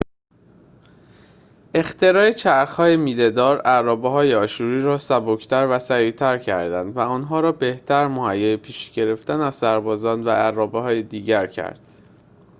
اختراع چرخ های میله‌دار ارابه های آشوری را سبک تر و سریعتر کرد و آنها را بهتر مهیای پیشی گرفتن از سربازان و ارابه‌های دیگر کرد